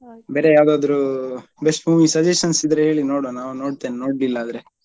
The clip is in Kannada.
ಬೇರೆ ಯಾವ್ದಾದ್ರು best movie suggestions ಇದ್ರೆ ಹೇಳಿ ನೋಡ್ವ ನಾವು ನೋಡ್ತೇನೆ ನೋಡ್ಲಿಲ್ಲಾದ್ರೆ.